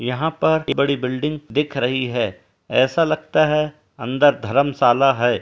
यहाँ पर बड़ी बिल्डिंग दिख रही है | ऐसा लगता है अंदर धर्मशाला है।